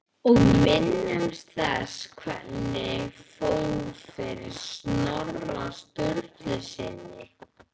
Og minnumst þess hvernig fór fyrir Snorra Sturlusyni!